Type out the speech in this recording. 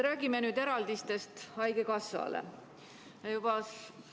Räägime nüüd haigekassale ette nähtud eraldistest.